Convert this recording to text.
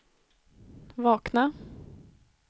vakna